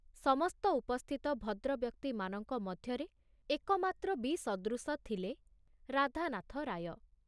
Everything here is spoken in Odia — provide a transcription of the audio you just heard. ସମସ୍ତ ଉପସ୍ଥିତ ଭଦ୍ରବ୍ୟକ୍ତିମାନଙ୍କ ମଧ୍ୟରେ ଏକମାତ୍ର ବିସଦୃଶ ଥିଲେ ରାଧାନାଥ ରାୟ।